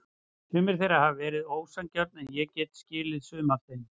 Sum þeirra hafa verið ósanngjörn en ég get skilið sum af þeim.